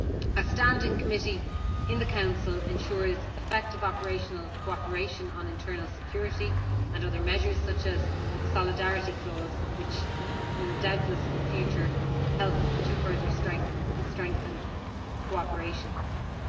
A standing committee in the Council ensures effective operational cooperation on internal security and other measures such as the solidarity clause, which will doubtless help to further strengthen cooperation in future.